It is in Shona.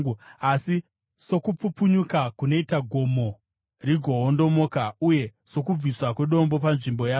“Asi sokupfupfunyuka kunoita gomo rigoondomoka, uye sokubviswa kwedombo panzvimbo yaro,